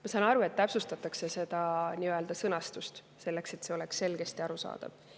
Ma saan aru, et täpsustatakse sõnastust, selleks et see oleks selgesti arusaadav.